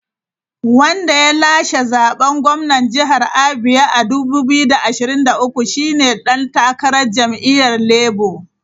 Wanda ya lashe zaben gwamnan jihar Abia a 2023 shi ne dan takarar jam’iyyar Labour.